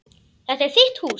Þetta er þitt hús.